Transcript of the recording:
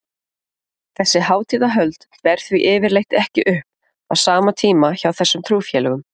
Þessi hátíðahöld ber því yfirleitt ekki upp á sama tíma hjá þessum trúfélögum.